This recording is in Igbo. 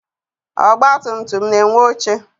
Ọgbatumtum na-enwe oche.